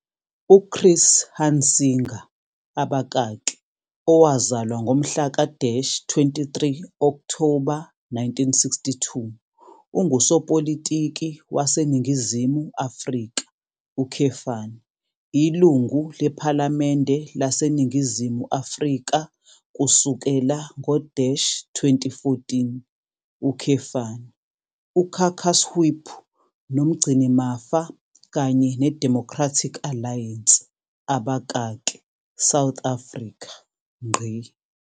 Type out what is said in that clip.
UChris Hunsinger, owazalwa ngomhla ka- 23 Okthoba 1962, ungusopolitiki waseNingizimu Afrika, Ilungu lePhalamende laseNingizimu Afrika kusukela ngo-2014, uCaucus Whip noMgcinimafa kanye neDemocratic Alliance, South Africa.